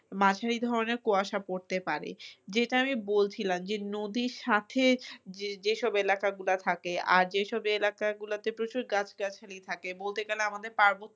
মাঝারি ধরনের কুয়াশা পড়তে পারে, যেটা আমি বলছিলাম যে নদীর সাথে যেসব এলাকাগুলা থাকে আর যেইসব এলাকাগুলোতে প্রচুর গাছ-গাছালি থাকে বলতে গেলে আমাদের পার্বত্য